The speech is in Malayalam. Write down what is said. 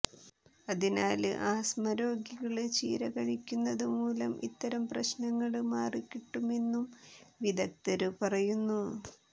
അതിനാല് ആസ്തമ രോഗികള് ചീര കഴിക്കുന്നത് മൂലം ഇത്തരം പ്രശ്നങ്ങള് മാറികിട്ടുമെന്നും വിദഗ്ദര് പറയുന്നു